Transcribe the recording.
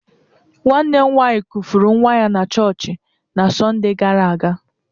Nwanne m nwanyi nkufuru nwa ya na choochi na Sonde gara aga.